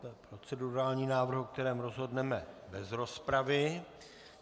To je procedurální návrh, o kterém rozhodneme bez rozpravy.